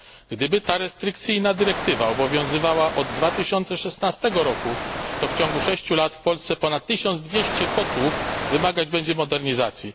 Gdyby ta restrykcyjna dyrektywa obowiązywała od 2016 roku, to w ciągu 6 lat w Polsce ponad 1200 kotłów będzie wymagać modernizacji.